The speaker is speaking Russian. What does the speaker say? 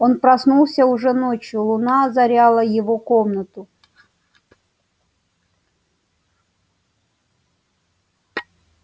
он проснулся уже ночью луна озаряла его комнату